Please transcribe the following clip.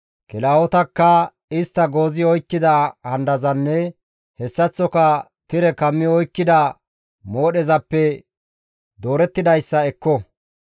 kilahotakka istta goozi oykkida handazanne hessaththoka tire kammi oykkida moodhezappe doorettidayssa ekko.